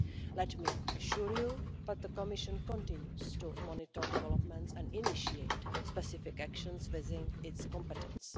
Let me assure you that the Commission continues to monitor developments and initiate specific actions within its competence.